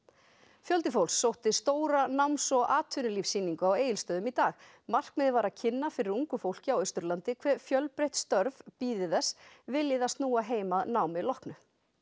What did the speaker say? fjöldi fólks sótti stóra náms og atvinnulífssýningu á Egilsstöðum í dag markmiðið var að kynna fyrir ungu fólki á Austurlandi hve fjölbreytt störf bíði þess vilji það snúa heim að námi loknu